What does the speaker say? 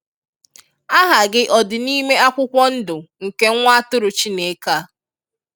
Aha gị ọdị n'ime akwụkwọ ndụ nke nwa atụrụ Chineke a?